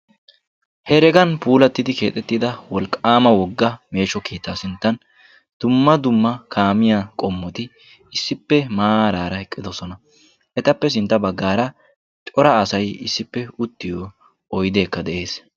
heragan puulattida wolqaama woga meeshsho keettaa sinttan dumma dumma kaammiya qommoti issippe maarara eqqidisona. etappe sintta bagaara cora asay issipe uttiyo oydeekka de'ees.